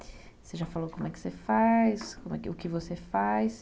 Você já falou como é que você faz, o que você faz.